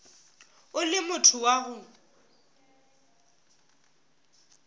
o le motho wa go